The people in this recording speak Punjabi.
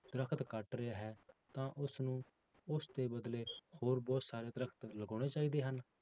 ਦਰਖਤ ਕੱਟ ਰਿਹਾ ਹੈ ਤਾਂ ਉਸਨੂੰ ਉਸਦੇ ਬਦਲੇ ਹੋਰ ਬਹੁਤ ਸਾਰੇ ਦਰਖਤ ਲਗਾਉਣੇ ਚਾਹੀਦੇ ਹਨ?